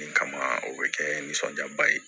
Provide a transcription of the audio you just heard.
Nin kama o bɛ kɛ nisɔndiyaba ye